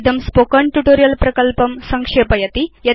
इदं spoken tutorial प्रकल्पं संक्षेपयति